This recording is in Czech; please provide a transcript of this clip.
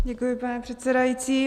Děkuji, pane předsedající.